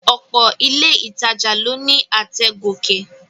Ọ̀pọ̀ ilé ìtajà ló ní àtẹ̀ gòkè